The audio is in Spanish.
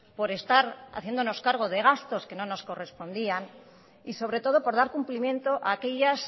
por estar haciéndonos cargo de gastos que no nos correspondían y sobre todo por dar cumplimiento a aquellas